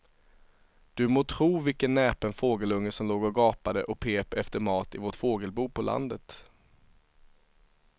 Du må tro vilken näpen fågelunge som låg och gapade och pep efter mat i vårt fågelbo på landet.